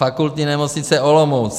Fakultní nemocnice Olomouc.